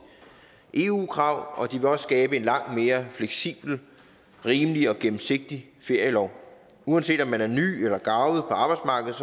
eu krav og de vil også skabe en langt mere fleksibel rimelig og gennemsigtig ferielov uanset om man er ny eller garvet på arbejdsmarkedet